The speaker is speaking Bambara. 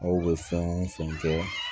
Aw bɛ fɛn o fɛn kɛ